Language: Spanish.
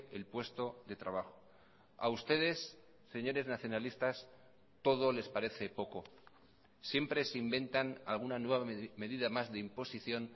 el puesto de trabajo a ustedes señores nacionalistas todo les parece poco siempre se inventan alguna nueva medida más de imposición